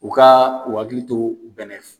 U ka u hakili to bɛnɛ